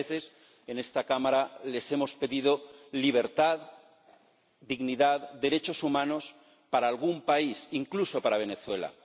Otras veces, en esta Cámara, les hemos pedido libertad, dignidad, derechos humanos para algún país, incluso para Venezuela.